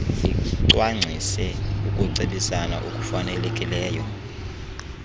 licwangcise ukucebisana okufanelekileyo